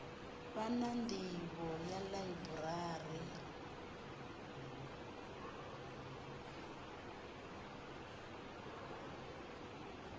vha na nḓivho ya ḽaiburari